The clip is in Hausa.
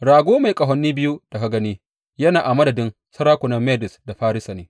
Rago mai ƙahoni biyu da ka gani, yana a madadin sarakunan Medes da Farisa ne.